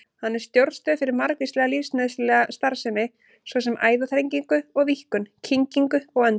Hann er stjórnstöð fyrir margvíslega lífsnauðsynlega starfsemi, svo sem æðaþrengingu og-víkkun, kyngingu og öndun.